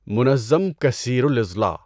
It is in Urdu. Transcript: منظم کثیر الاضلاع